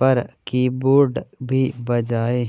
पर कीबोर्ड भी बजाए